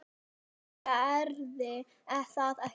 En gerði það ekki.